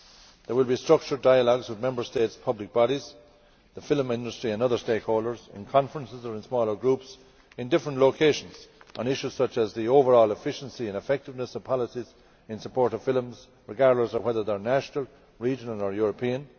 There will be structured dialogues with Member States' public bodies, the film industry and other stakeholders in conferences or in smaller groups in different locations on issues such as the overall efficiency and effectiveness of policies in support of films, regardless of whether they are national, regional or European